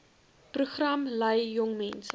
program lei jongmense